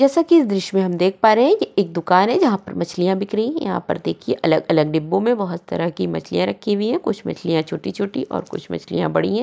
जैसा की इस दृश्य में हम देख पा रहे है ये एक दुकान है जहाँ पर मछलियाँ बिक रही है यहाँ पर देखिये अलग अलग डिब्बो में बहुत तरह की मछलियाँ रखी हुई है कुछ मछलियाँ छोटी छोटी और कुछ मछलियाँ बड़ी है।